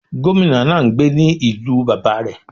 Gómìnà náà n gbé ní ìlú bàbá rẹ̀